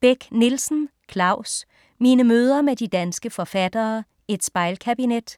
Beck-Nielsen, Claus: Mine møder med de danske forfattere: et spejlkabinet